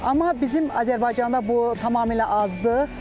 Amma bizim Azərbaycanda bu tamamilə azdır.